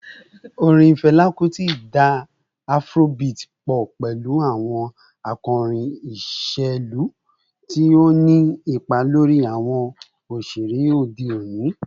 Orin Fẹla Kuti da Afrobeat pọ pẹlu awọn akori iṣelu, ti o ni ipa lori awọn oṣere ode oni.